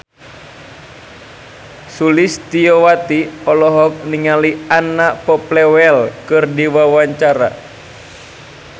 Sulistyowati olohok ningali Anna Popplewell keur diwawancara